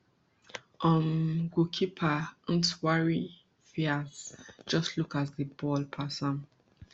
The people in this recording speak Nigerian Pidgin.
um goalkeeper ntwari fiarce just look as di ball pass am